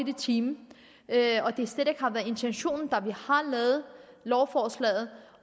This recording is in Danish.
i timen og at det slet ikke har været intentionen da vi lavede lovforslaget